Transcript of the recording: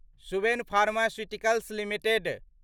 Suven pharmaceuticals limited